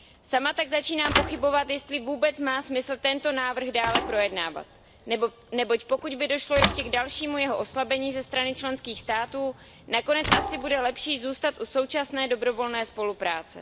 Sama tak začínám pochybovat, jestli vůbec má smysl tento návrh dále projednávat, neboť pokud by došlo ještě k dalšímu jeho oslabení ze strany členských států, nakonec asi bude lepší zůstat u současné dobrovolné spolupráce.